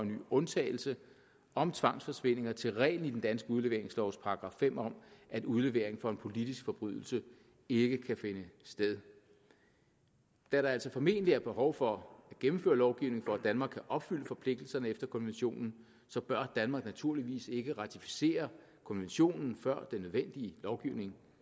ny undtagelse om tvangsforsvindinger til reglen i den danske udleveringslovs § fem om at udlevering for en politisk forbrydelse ikke kan finde sted da der altså formentlig er behov for at gennemføre lovgivning for at danmark kan opfylde forpligtelserne efter konventionen bør danmark naturligvis ikke ratificere konventionen før den nødvendige lovgivning